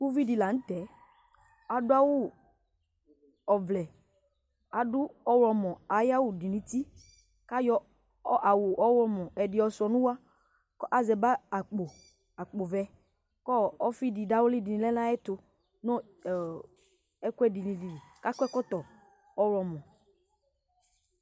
uvidi lanu tɛ adu awu ɔvlɛadu ɔɣlɔmɔ ayiʋ awu dunu uti ku ayɔ awu ɔɣlɔmɔ ɛdi yɔsuia nu uwɔku asɛ bag, akpo vɛ ku ɔ ɔfidi dawli di lɛnu ayɛtunu ɔ ɛkuɛdinili ku akɔ ɛkɔtɔ ɔwlɔmɔ